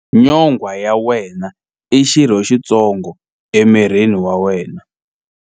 Nyonghwa ya wena i xirho xitsongo emirini wa wena.